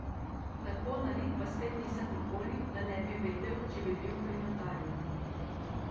Tako nalit pa spet nisem nikoli, da ne bi vedel, če bi bil pri notarju.